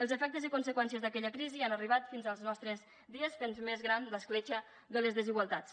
els efectes i conseqüències d’aquella crisi han arribat fins als nostres dies i han fet més gran l’escletxa de les desigualtats